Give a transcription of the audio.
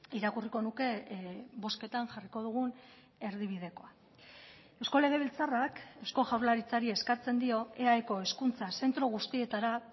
irakurriko nuke bozketan jarriko dugun erdibidekoa eusko legebiltzarrak eusko jaurlaritzari eskatzen dio eaeko hezkuntza zentro guztietara